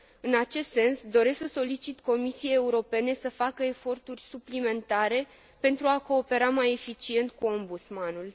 În acest sens, doresc să solicit Comisiei Europene să facă eforturi suplimentare pentru a coopera mai eficient cu Ombudsmanul.